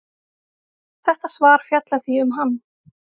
Þetta svar fjallar því um hann.